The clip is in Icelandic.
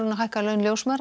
að hækka laun ljósmæðra